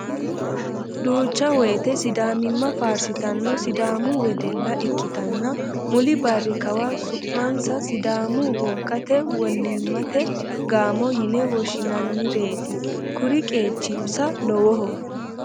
Duucha woyte sidaamimma faarsittano sidaamu wedella ikkittanna muli barri kawa su'mansa sidaamu wogate wolimate gaamo yine woshshinannireti kuri qeechinsa lowoho